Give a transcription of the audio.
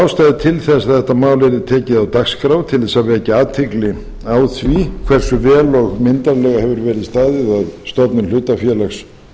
ástæðu til þess að þetta mál yrði tekið á dagskrá til að vekja athygli á því hversu vel og myndarlega hefur verið staðið að stofnun hlutafélags